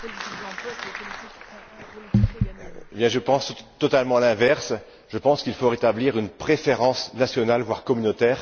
Madame la Présidente, je pense totalement l'inverse. Je pense qu'il faut rétablir une préférence nationale, voire communautaire.